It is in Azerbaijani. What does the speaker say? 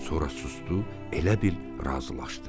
Sonra susdu, elə bil razılaşdı.